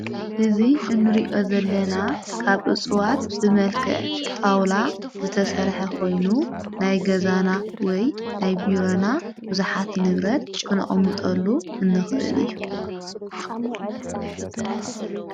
እዙ እንሪእዮ ዘለና ካብ ኡፅዋት ብመልክዕ ጣውላ ዝተሠርሐ ኾይኑ ናይ ገዛና ወይ ናይ ብረና ቡዙኃት ንብረት ክንኦምሙጠሉ እንኽህል እዩ።